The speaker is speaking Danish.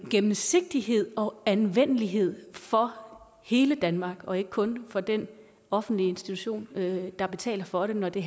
gennemsigtighed og anvendelighed for hele danmark og ikke kun for den offentlige institution der betaler for det når det